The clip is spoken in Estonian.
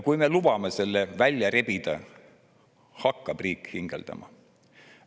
Kui me lubame selle välja rebida, siis hakkab riik hingeldama.